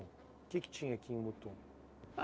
O que que tinha aqui em Mutum?